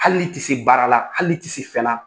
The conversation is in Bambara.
Hali ni tɛ se baara la, hali ni tɛ se fɛna